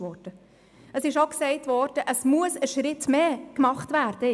Es wurde auch gesagt, es müsse jetzt ein weiterer Schritt getan werden.